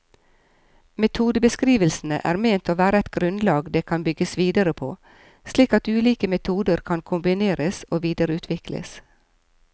Metodebeskrivelsene er ment å være et grunnlag det kan bygges videre på, slik at ulike metoder kan kombineres og videreutvikles.